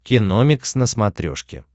киномикс на смотрешке